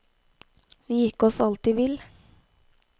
Vi gikk oss alltid vill.